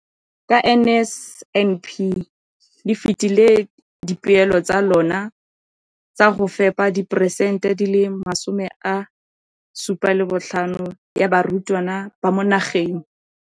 Ka NSNP le fetile dipeelo tsa lona tsa go fepa masome a supa le botlhano a diperesente ya barutwana ba mo nageng.